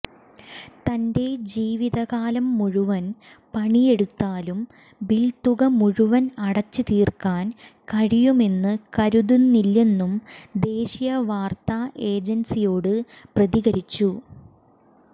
തന്റെ ജീവിതകാലം മുഴുവൻ പണിയെടുത്താലും ബിൽത്തുക മുഴുവൻ അടച്ച് തീർക്കാൻ കഴിയുമെന്ന് കരുതുന്നില്ലെന്നും ദേശീയ വാർത്താ ഏജൻസിയോട് പ്രതികരിച്ചു